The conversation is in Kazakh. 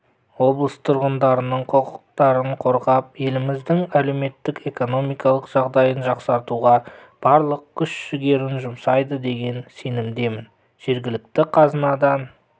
облыс тұрғындарының құқықтарын қорғап еліміздің әлеуметтік-экономикалық жағдайын жақсартуға барлық күш-жігерін жұмсайды деген сенімдемін жергілікті қазынадан